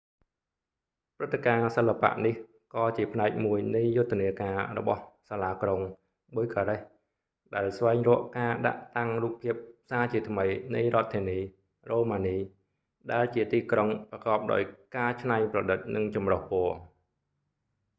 ព្រឹត្តិការណ៍សិល្បៈនេះ ក៏ជាផ្នែកមួយនៃយុទ្ធនាការរបស់សាលាក្រុង bucharest ដែលស្វែងរកការដាក់តាំងរូបភាពសាជាថ្មីនៃរដ្ឋធានី រ៉ូម៉ានី ដែលជាទីក្រុងប្រកបដោយការច្នៃប្រឌិត និងចម្រុះពណ៌